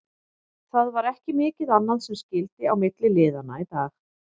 Það var ekki mikið annað sem skyldi á milli liðanna í dag.